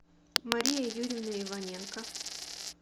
мария юрьевна иваненко